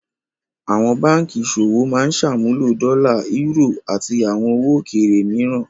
Àwọn báńkì ìṣòwò máa ń ṣàmúlò dọ́là, eúrò, àti àwọn owó òkèèrè mìíràn.